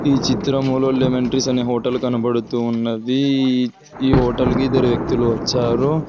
ఈ చిత్రంలో lemon tree అనే హోటల్ కనబడుతూ ఉన్నది ఈ హోటల్ కి ఇద్దరు వ్యక్తులు వచ్చారు.